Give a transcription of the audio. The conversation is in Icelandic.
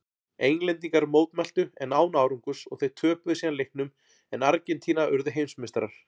Englendingar mótmæltu en án árangurs og þeir töpuðu síðan leiknum en Argentína urðu heimsmeistarar.